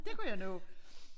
Det kunne jeg nå